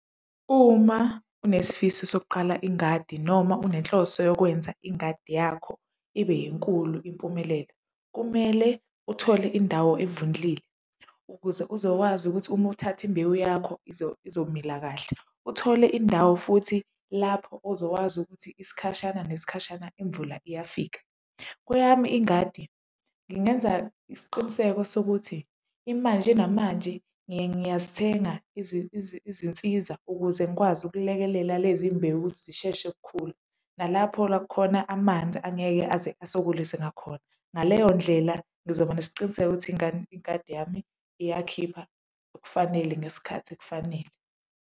Uma unesifiso sokuqala ingadi noma unenhloso yokwenza ingadi yakho ibe enkulu impumelelo, kumele uthole indawo evundlile ukuze uzokwazi ukuthi uma uthatha imbewu yakho izomila kahle. Uthole indawo futhi lapho ozokwazi ukuthi isikhashana nesikhashana imvula iyafika. Kweyami ingadi, ngingenza isiqiniseko sokuthi imanje namanje ngiyazithenga izinsiza ukuze ngikwazi ukulekelela lezi mbewu ukuthi zisheshe ukukhula, nalapho la kukhona amanzi angeke aze asokolise ngakhona. Ngaleyo ndlela ngizoba nesiqiniseko ukuthi ingadi yami iyakhipha okufanele ngesikhathi ekufanele.